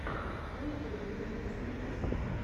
на ютюбе ремиксы